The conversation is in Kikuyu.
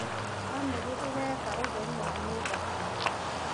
Bamĩrĩ ĩreka ũtheru wa nyũma hamwe.